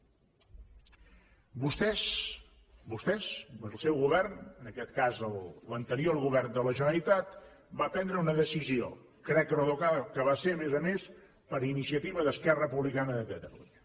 vostès vostès el seu govern en aquest cas l’anterior govern de la generalitat van prendre una decisió crec recordar que va ser a més a més per iniciativa d’esquerra republicana de catalunya